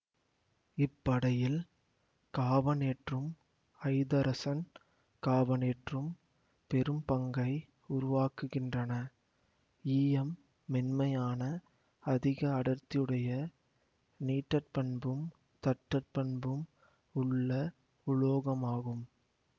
இப்படையில் காபனேற்றும் ஐதரசன் காபனேற்றும் பெரும் பங்கை உருவாக்குகின்றன ஈயம் மென்மையான அதிக அடர்த்தியுடைய நீட்டற்பண்பும் தட்டற்பண்பும் உள்ள உலோகமாகும்